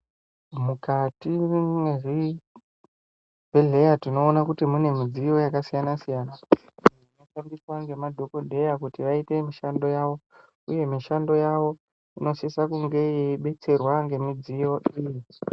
Mukati mwezvibhedhleya tinoona kuti mune midziyo yakasiyana-siyana, inoshandiswa ngemadhokodheya kuti aite mushando yavo, uye mishando yavo inosisa kunge yeibetserwa ngemidziyo iyi.